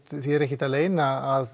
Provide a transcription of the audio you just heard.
því er ekki að leyna að